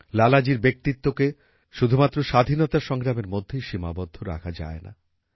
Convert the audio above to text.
লালাজীর ব্যক্তিত্বকে শুধুমাত্র স্বাধীনতা সংগ্রামের মধ্যেই সীমাবদ্ধ রাখা যায় না